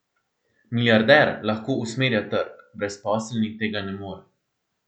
Milijarder lahko usmerja trg, brezposelni tega ne more.